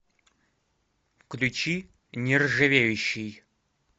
включи нержавеющий